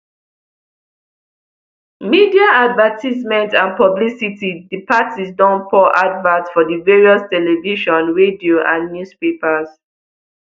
media advertisement and publicity di parties don pour adverts for di various television radio and newspapers